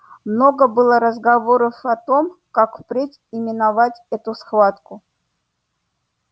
много было разговоров о том как впредь именовать эту схватку